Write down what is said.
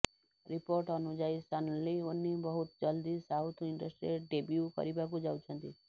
report ଅନୁଯାୟୀ Sunny Leone ବହୁତ ଜଲଦି ସାଉଥ ଇଣ୍ଟଷ୍ଟ୍ରୀରେ ଡେବ୍ୟୁ କରିବାକୁ ଯାଉଛନ୍ତି